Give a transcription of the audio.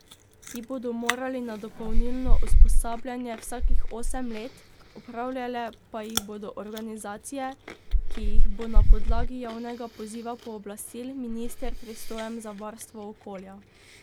Ti bodo morali na dopolnilno usposabljanje vsakih osem let, opravljale pa jih bodo organizacije, ki jih bo na podlagi javnega poziva pooblastil minister pristojen za varstvo okolja.